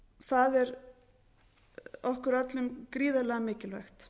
það er okkur öllum gríðarlega mikilvægt